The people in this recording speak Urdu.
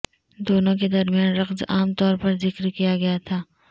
دونوں کے درمیان رقص عام طور پر ذکر کیا گیا تھا